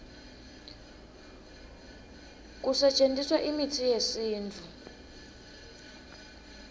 kusetjentiswa imitsi yesintfu